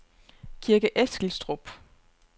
Kirke Eskilstrup